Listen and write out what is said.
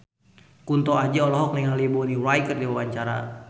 Kunto Aji olohok ningali Bonnie Wright keur diwawancara